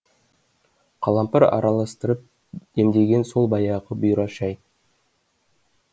қалампыр араластырып демдеген сол баяғы бұйра шай